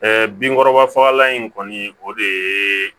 binkɔrɔba fagalan in kɔni o de ye